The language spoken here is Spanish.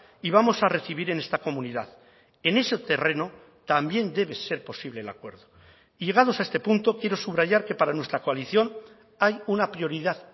y vamos a recibir en esta comunidad en ese terreno también debe ser posible el acuerdo y llegados a este punto quiero subrayar que para nuestra coalición hay una prioridad